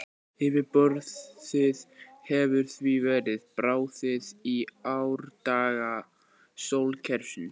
Yfirborðið hefur því verið bráðið í árdaga sólkerfisins.